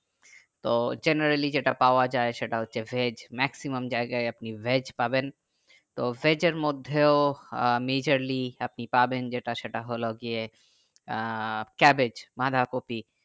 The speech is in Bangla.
তো generally যেটা পাওয়া যাই সেটা হচ্ছে veg maximum জায়গায় আপনি veg পাবেন তো veg এর মধ্যে ও majorly আপনি পাবেন যেটা সেটা হলো গিয়ে আহ cabbage বাঁধা কপি